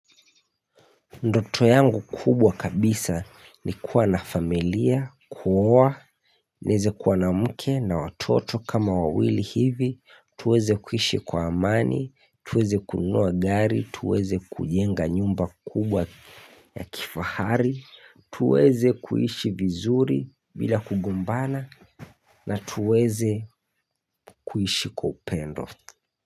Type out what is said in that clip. Ndoto yangu kubwa kabisa ni kuwa na familia, kuoa, nieze kuwa na mke na watoto kama wawili hivi, tuweze kuishi kwa amani, tuweze kunua gari, tuweze kujenga nyumba kubwa ya kifahari, tuweze kuishi vizuri bila kugumbana na tuweze kuishi kwa upendo.